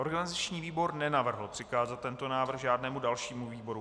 Organizační výbor nenavrhl přikázat tento návrh žádnému dalšímu výboru.